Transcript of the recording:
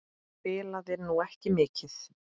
Þú spilaðir nú ekki mikið?